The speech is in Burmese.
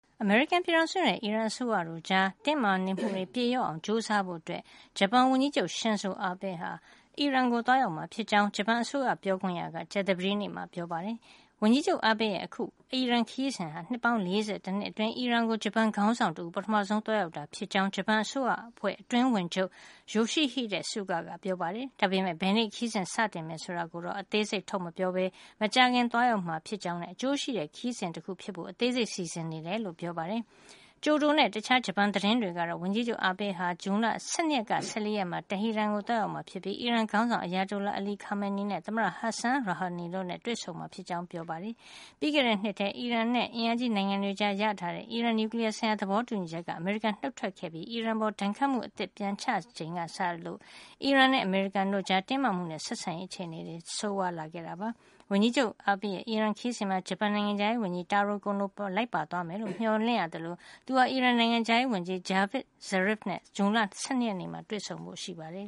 အမေရိကန်ပြည်ထောင်စုနဲ့ အီရန်အစိုးရတို့ကြား တင်းမာနေမှုတွေ ပြေလျော့အောင် ကြိုးစားဖို့ ဂျပန်ဝန်ကြီးချုပ် Shinzo Abe ဟာ အီရန်ကို သွားရောက်မှာ ဖြစ်ကြောင်း ဂျပန်အစိုးရပြေခွင့်ရ က ကြာသပတေးနေ့မှာ ပြောပါတယ်။ ဝန်ကြီးချုပ် Abe ရဲ့ အခု အီရန်ခရီးစဉ်ဟာ နှစ်ပေါင်း ၄၁ နှစ်အတွင်း အီရန်ကို ဂျပန်ခေါင်းဆောင်တဦး ပထမဆုံး သွားရောက်တာဖြစ်ကြောင်း ဂျပန်အစိုးရအဖွဲ့ အတွင်းဝန်ချုပ် Yoshihide Suga ကပြောပါတယ်။ ဒါပေမယ့် ဘယ်နေ့ ခရီးစဉ်စတင်မယ် ဆိုတဲ့အသေးစိတ်ကို ထုတ်မပြောပဲ မကြာခင် သွားရောက်မှာ ဖြစ်ကြောင်းနဲ့ အကျိုးရှိတဲ့ ခရီးစဉ်တခု ဖြစ်စေဖို့ အသေးစိတ်စီစဉ်နေကြောင်းပြောပါတယ်။ ကျိုဒိုနဲ့ တခြားဂျပန်သတင်းတွေကတော့ ဝန်ကြီးချုပ် Abe ဟာ ဇွန်လ ၁၂ ကနေ ၁၄ ရက်မှာ တဟီရန်ကို သွားရောက်မှာ ဖြစ်ပြီး အီရန်ခေါင်းဆောင် Ayatollah Ali Khamenei နဲ့ သမ္မတ Hassan Rouhani တို့နဲ့ တွေ့ဆုံမှာ ဖြစ်ကြောင်း ဖေါ်ပြကြပါတယ်။ ပြီးခဲ့တဲ့နှစ်မှာ အီရန်နဲ့ အင်အားကြီးနိုင်ငံတွေကြား ရရှိထားတဲ့ အီရန်နျူကလီယားဆိုင်ရာ သဘောတူညီချက်ကနေ အမေရိကန် နုတ်ထွက်ခဲ့ပြီး အီရန်အပေါ် ဒဏ်ခတ်မှု အသစ်တွေ ပြန်ချခဲ့ချိန်ကစလို့ အမေရိကန်နဲ့ အီရန်တို့ကြား တင်းမာမှုတွေနဲ့ ဆက်ဆံရေးအခြေနေ ပိုဆိုးလာခဲ့တာပါ။ ဝန်ကြီးချုပ် Abe ရဲ့ အီရန်ခရီးစဉ်မှာ ဂျပန်နိုင်ငံခြားရေးဝန်ကြီး Taro Kono ပါ လိုက်ပါသွားမယ်လို့ မျှော်လင့်ရသလို သူဟာ အီရန်နိုင်ငံခြားရေး ဝန်ကြီး Javad Zarif နဲ့ ဇွန်လ ၁၂ ရက်နေ့မှာ တွေ့ဆုံဖို့ရှိပါတယ်